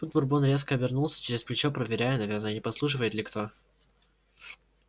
тут бурбон резко обернулся через плечо проверяя наверное не подслушивает ли кто